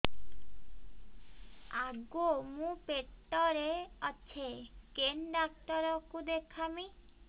ଆଗୋ ମୁଁ ପେଟରେ ଅଛେ କେନ୍ ଡାକ୍ତର କୁ ଦେଖାମି